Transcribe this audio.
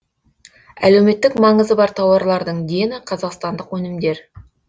әлеуметтік маңызы бар тауарлардың дені қазақстандық өнімдер